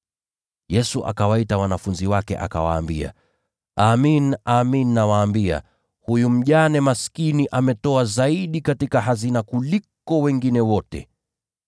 Yesu akawaita wanafunzi wake, akawaambia, “Amin, nawaambia, huyu mjane maskini ameweka katika sanduku la hazina zaidi ya watu wengine wote.